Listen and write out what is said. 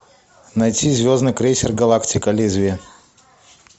найти звездный крейсер галактика лезвие